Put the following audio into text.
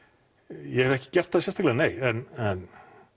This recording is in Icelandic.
ég hef ekki gert það sérstaklega nei en